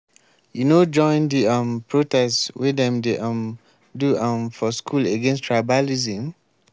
you no join di um protest wey dem dey um do um for school against tribalism?